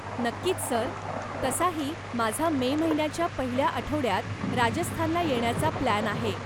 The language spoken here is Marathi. नक्कीच सर. तसाही माझा मे महिन्याच्या पहिल्या आठवड्यात राजस्थानला येण्याचा प्लॅन आहे.